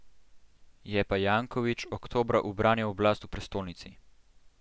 Je pa Janković oktobra ubranil oblast v prestolnici.